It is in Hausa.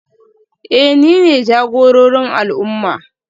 Eh nine jagororin al'umma